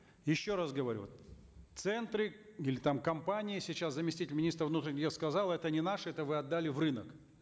еще раз говорю центры или там компании сейчас заместитель министра внутренних дел сказал это не наш это вы отдали в рынок